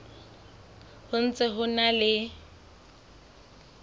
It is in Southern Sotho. ho ntse ho na le